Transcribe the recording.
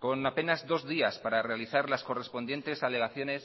con apenas dos días para realizar las correspondientes alegaciones